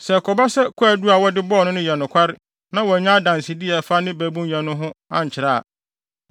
Sɛ ɛkɔba sɛ kwaadu a wɔde bɔɔ no no yɛ nokware na wɔannya adansede a ɛfa ne babunyɛ no ho ankyerɛ a,